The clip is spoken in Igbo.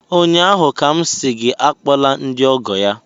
ụnyaahụ ka m sị gị akpọla ndị ọgọ ya!